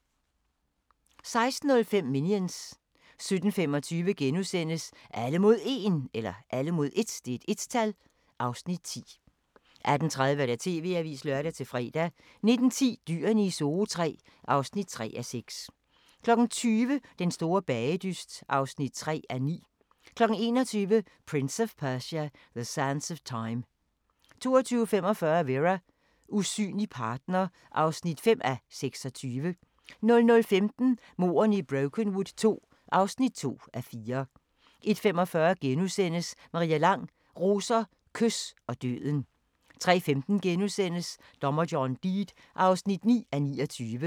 16:05: Minions 17:25: Alle mod 1 (Afs. 10)* 18:30: TV-avisen (lør-fre) 19:10: Dyrene i Zoo III (3:6) 20:00: Den store bagedyst (3:9) 21:00: Prince of Persia: The Sands of Time 22:45: Vera: Usynlig partner (5:26) 00:15: Mordene i Brokenwood II (2:4) 01:45: Maria Lang: Roser, kys og døden * 03:15: Dommer John Deed (9:29)*